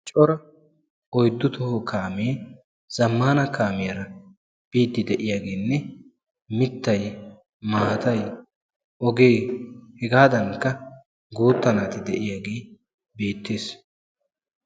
coraa oyddu toho kaamee zammana kaamiyaara biidi de'iyaagenne mittay, maatay, ogee, hegadankka guuta naati de'iyaagee beettees.